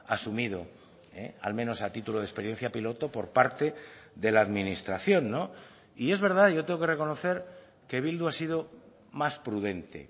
asumido al menos a título de experiencia piloto por parte de la administración y es verdad yo tengo que reconocer que bildu ha sido más prudente